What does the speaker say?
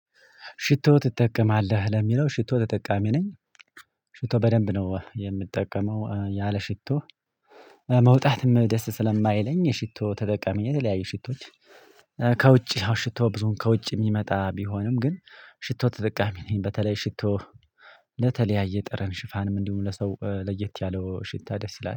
ሽቶ ትጠቀማለህ? ለሚለው ሽቶ ተጠቃሚ ነኝ ሽቶ በደንብ ነው የምጠቀመው ያለ ሽቶ መውጣትም ደስ ስለማይለኝ የሽቶ ተጠቃሚ የተለያየ ሽቶች ከውጪ ሽቶ ብዙም ከውጪ የሚመጣ ቢሆንም ግን ሽቶ ተጠቃሚ ነኝ በተለይ ሽቶ ለተለያየ ጠረን ሽፋን ምንድነው ለሰው ለየት ያለው ሽታ ደስ ይላል